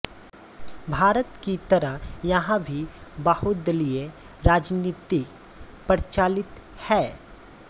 भारत की तरह यहाँ भी बहुदलिय राजनीति प्रचलित है